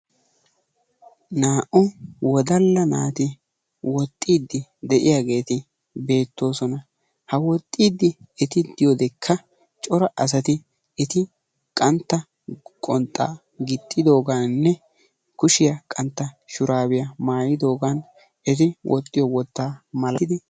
Naa'u wodala naati woxxidi diyageti beetosona. ha woxxidi eti diyodeka cora asati eti qantta qonxxa gixxidoganne kushiyaa qantta shurabiya maayidogan eti woxxiyo wotta maalaalettidi deosona.